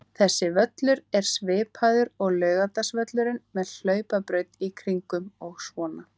Þessi völlur er svipaður og Laugardalsvöllurinn, með hlaupabraut í kringum og svona.